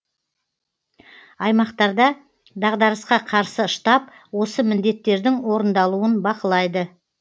аймақтарда дағдарысқа қарсы штаб осы міндеттердің орындалуын бақылайды